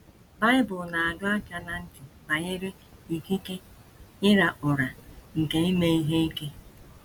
Bible na - adọ aka ná ntị banyere ikike ịra ụrà nke ime ihe ike.